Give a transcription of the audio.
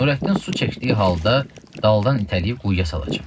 Nurəddin su çəkdiyi halda daldan itələyib quyuya salacam.